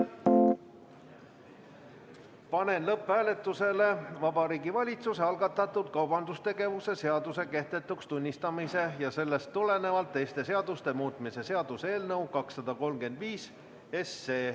Panen lõpphääletusele Vabariigi Valitsuse algatatud kaubandustegevuse seaduse kehtetuks tunnistamise ja sellest tulenevalt teiste seaduste muutmise seaduse eelnõu 235.